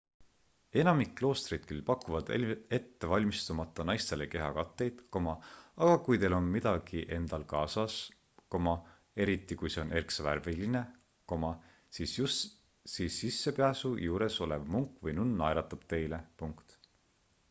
enamik kloostreid küll pakuvad ettevalmistumata naistele kehakatteid aga kui teil on midagi endal kaasas eriti kui see on erksavärviline siis sissepääsu juures olev munk või nunn naeratab teile